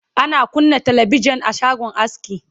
ana kunna talabijan a shagon aski